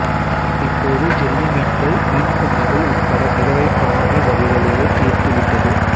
இப்போது ஜெல்லிமீன்கள் மீன் குஞ்சுகள் உட்பட மிதவை பிராணி வகைகளையே தீர்த்து விட்டது